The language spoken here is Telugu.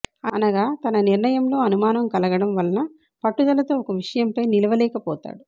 అనగా తన నిర్ణయంలో అనుమానం కలగడం వలన పట్టుదలతో ఒక విషయంపై నిలవలేకపోతాడు